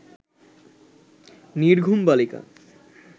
নির্ঘুম বালিকা